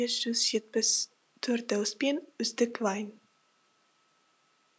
бес жүз жетпіс төрт дауыспен үздік вайн